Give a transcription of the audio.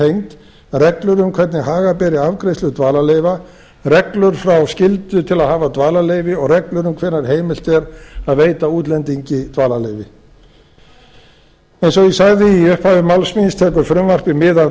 tengd reglur um hvernig haga beri afgreiðslu dvalarleyfa reglur frá skyldu til að hafa dvalarleyfi og reglur um hvenær heimilt er að veita útlendingi dvalarleyfi eins og ég sagði í upphafi máls míns tekur frumvarpið mið af